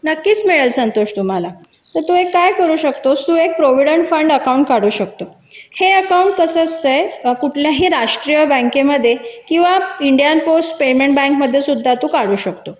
नक्कीच मिळेल संतोष तुम्हाला तर तू एक काय करू शकतोस तू एक भविष्य निधी खाते काढू शकतो हे खात कसे असते कुठल्याही राष्ट्रीय बँकेमध्ये किंवा इंडियन पोस्ट पेमेंट बँकेत काढू शकतो